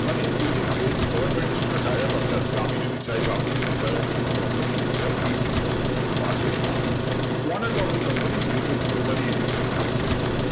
মানে এই যে যেহেতু government এর সঙ্গে tie up আছে আজকে আমি যদি চাই বা আপনি চাই অন্য কোনো company যদি চাই এই business করতে পারবে না one and only company VFS Global এই business করছে